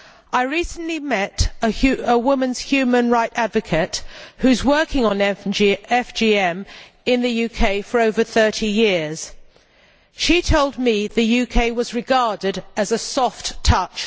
I recently met a women's human rights advocate who has been working on FGM in the UK for over 30 years. She told me that the UK was regarded as a soft touch.